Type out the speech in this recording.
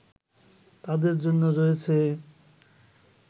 তাদের জন্য রয়েছে